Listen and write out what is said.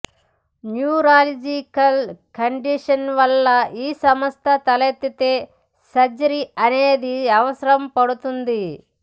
neurological condition వలన ఈ సమస్య తలెత్తితే సర్జరీ అనేది అవసరపడుతుంది